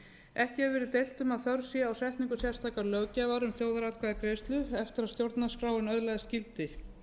ekki hefur verið deilt um að þörf sé á setningu sérstakrar löggjafar um þjóðaratkvæðagreiðslur eftir að stjórnarskráin öðlaðist gildi